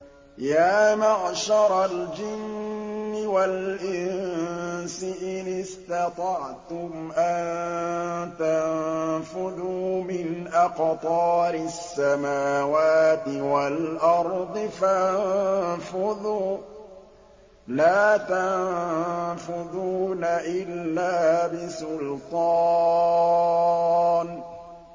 يَا مَعْشَرَ الْجِنِّ وَالْإِنسِ إِنِ اسْتَطَعْتُمْ أَن تَنفُذُوا مِنْ أَقْطَارِ السَّمَاوَاتِ وَالْأَرْضِ فَانفُذُوا ۚ لَا تَنفُذُونَ إِلَّا بِسُلْطَانٍ